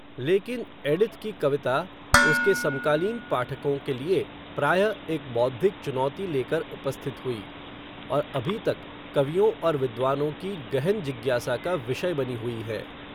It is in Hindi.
लेकिन, एडिथ की कविता, उसके समकालीन पाठकों के लिए, प्रायः, एक बौद्धिक चुनौती लेकर उपस्थित हुई, और अभी तक, कवियों और विद्वानों की गहन जिज्ञासा का, विषय बनी हुई है